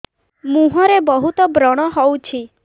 ମୁଁହରେ ବହୁତ ବ୍ରଣ ହଉଛି